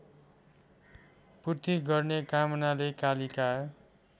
पूर्ति गर्ने कामनाले कालिका